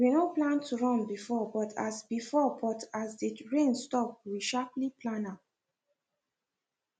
we no plan to run before but as before but as the rain stop we sharply plan am